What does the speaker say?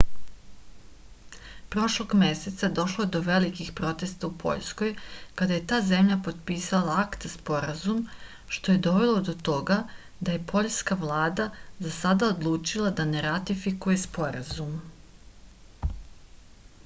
prošlog meseca došlo je do velikih protesta u poljskoj kada je ta zemlja potpisala akta sporazum što je dovelo do toga da je poljska vlada za sada odlučila da ne ratifikuje sporazum